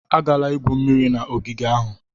Agala igwu mmiri na ogige ahụ!